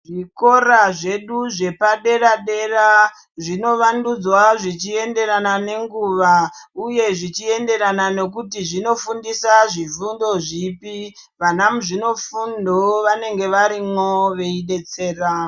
Zvikora zvedu zvepadera-dera zvinovandudzwa zvichienderana nenguva, uye zvichienderana nekuti zvinofundisa zvifundo zvipi. Vana muzvinofundo vanenge varimwo veibetsera.